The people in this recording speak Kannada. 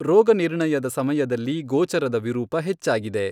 ರೋಗನಿರ್ಣಯದ ಸಮಯದಲ್ಲಿ ಗೋಚರದ ವಿರೂಪ ಹೆಚ್ಚಾಗಿದೆ.